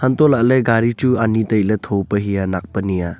untoh lahley gari chu ani tailey thope hey nak pe nia.